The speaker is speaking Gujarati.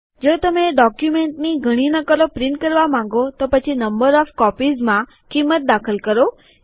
જો તમે ડોક્યુમેન્ટની ઘણી નકલો પ્રિન્ટ કરવા માંગો તો પછી નંબર ઓફ કોપીઝ ક્ષેત્રમાં કિંમત દાખલ કરો